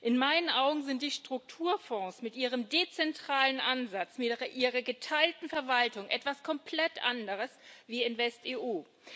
In meinen Augen sind die Strukturfonds mit ihrem dezentralen Ansatz, mit ihrer geteilten Verwaltung etwas komplett anderes als InvestEU.